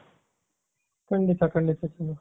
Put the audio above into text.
ಖಂಡಿತಾ ಖಂಡಿತ